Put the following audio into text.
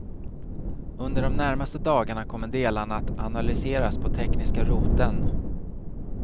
Under de närmaste dagarna kommer delarna att analyseras på tekniska roteln.